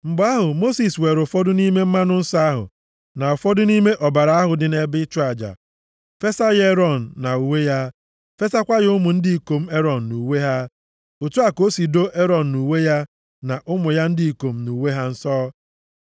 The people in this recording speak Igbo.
Mgbe ahụ, Mosis weere ụfọdụ nʼime mmanụ nsọ ahụ, na ụfọdụ nʼime ọbara ahụ dị nʼebe ịchụ aja fesa ya Erọn na uwe ya, fesakwa ya ụmụ ndị ikom Erọn nʼuwe ha. Otu a ka o si doo Erọn na uwe ya, na ụmụ ya ndị ikom na uwe ha nsọ.